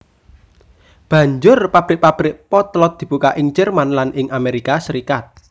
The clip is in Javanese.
Banjur pabrik pabrik potlot dibuka ing Jerman lan ing Amerika Serikat